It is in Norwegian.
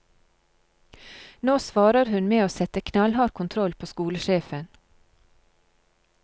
Nå svarer hun med å sette knallhard kontroll på skolesjefen.